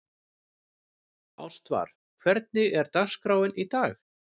Ástvar, hvernig er dagskráin í dag?